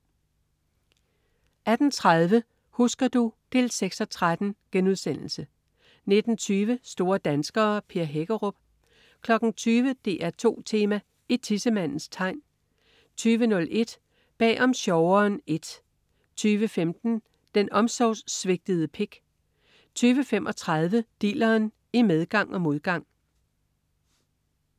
18.30 Husker du? 6:13* 19.20 Store danskere. Per Hækkerup 20.00 DR2 Tema: I tissemandens tegn 20.01 Bag om sjoveren I 20.15 Den omsorgssvigtede pik 20.35 Dilleren, i medgang og modgang